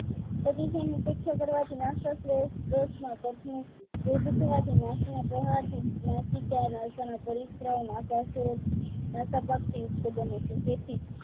પ્રતિસન ઉપેક્ષા કરવાથી નસાસરોગ પેટ માં તકલીફ એ જ થવાથી નાકના પ્રહારથી નાસિકા નાસાના પરિકરા નસાસુર અને તપકયુક્ત બને છે